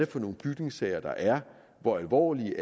for nogle bygningssager der er hvor alvorlige